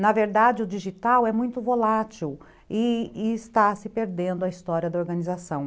Na verdade, o digital é muito volátil e e está se perdendo a história da organização.